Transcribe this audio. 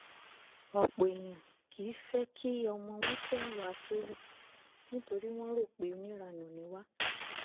ọ̀pọ̀ èèyàn kìí fẹ́ kí ọmọ wọn fẹ́ àwa akéwì nítorí wọ́n rò pé oníranú ni wá